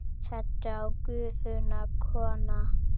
Settu á Gufuna, kona!